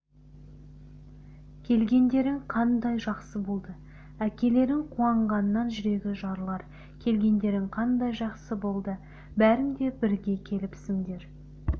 келгендерің қандай жақсы болды әкелерің қуанғаннан жүрегі жарылар келгендерің қандай жақсы болды бәрің де бірге келіпсіңдер